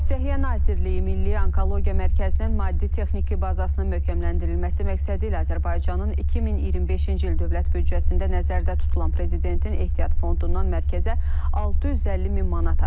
Səhiyyə Nazirliyi Milli Onkologiya Mərkəzinin maddi-texniki bazasının möhkəmləndirilməsi məqsədilə Azərbaycanın 2025-ci il dövlət büdcəsində nəzərdə tutulan prezidentin ehtiyat fondundan mərkəzə 650 min manat ayrılıb.